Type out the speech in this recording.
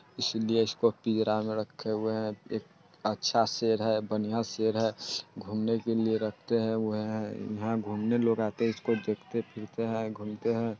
इसीलिए इसको पिंजरा मे रखे हुए है| एक अच्छा सेर है बनिया सेर है| घूमने के लिए रखते है हुए है| यहाँ घूमने लोग आते है इसको देखते फिरते है घूमते है।